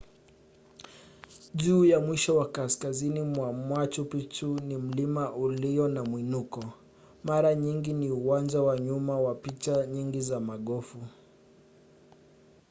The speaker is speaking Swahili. juu ya mwisho wa kaskazini mwa machu picchu ni mlima ulio na mwinuko mara nyingi ni uwanja wa nyuma wa picha nyingi za magofu